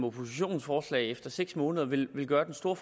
oppositionens forslag efter seks måneder vil gøre den store